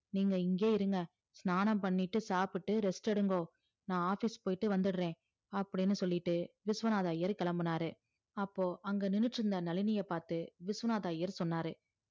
நீங்க இங்கே இருங்க ஷானனம் பண்ணிட்டு சாப்பிட்டு ரெஸ்ட் எடுகோ நான் office போயிட்டு வந்துறே அப்டின்னு சொல்லிட்டு விஸ்வநாதர் ஐயர் கிளம்புனாறு அப்போ அங்க நின்னுட்டு இருந்த நழினியே பாத்து விஸ்வநாதர் ஐயர் சொன்னாரு